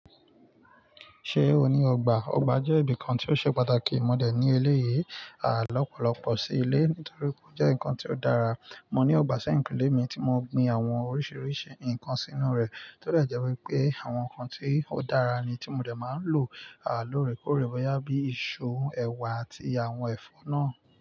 Ṣé o ní ọgbà? Ọgbà jẹ́ ibìkan tí ó ṣe pàtàkì mọ dẹ̀ ní eléyìí, à lọ́pọ̀lọ́pọ̀ sí ilé torípé ó jẹ́ ǹkan tí ó dára. Mọ ní ọgbà sẹ́yìnkúnlé mi tí mọ gbin àwọn oríṣiríṣi ǹkan sínú rẹ̀, tó dé jẹ́ wípé àwọn ǹkan tí ó dára ni tí mọ dẹ̀ máa n lò, à lóore kóòrè bọ́yá bíi iṣu, ẹ̀wà àti àwọn ẹ̀fọ́ náà.